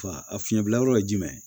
Fa a fiɲɛbila yɔrɔ ye jumɛn ye